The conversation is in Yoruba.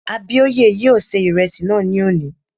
Abíóyè yóò ṣe ìrẹsì náà ní òní